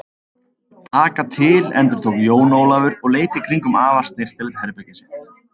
Taka til endurtók Jón Ólafur og leit í kringum afar snyrtilegt herbergið sitt.